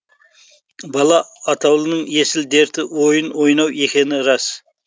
бала атаулының есіл дерті ойын ойнау екені рас